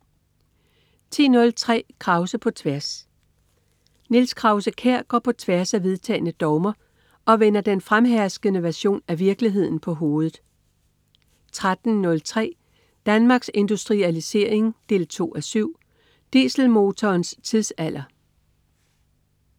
10.03 Krause på tværs. Niels Krause-Kjær går på tværs af vedtagne dogmer og vender den fremherskende version af virkeligheden på hovedet 13.03 Danmarks Industrialisering 2:7. Dieselmotorens tidsalder